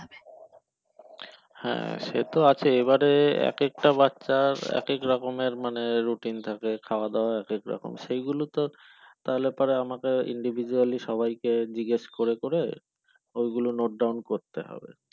হ্যাঁ সেট আছে এবারে এক একটা বাচ্চার এক এক রকমের মানে routine থাকে খাওয়াদাওয়া এক এক রকম সেগুলো তো তাহলে পরে আমাকে individually সবাইকে জিগেশ করে করে ওই গুলো note down করতে হবে